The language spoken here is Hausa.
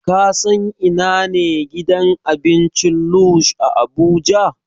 Ka san ina ne gidan abincin Lush a Abuja?